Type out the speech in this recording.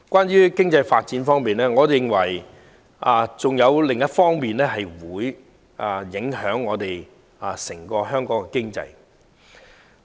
在經濟發展方面，我認為還有另一點會影響香港的整體經濟。